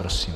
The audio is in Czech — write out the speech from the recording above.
Prosím.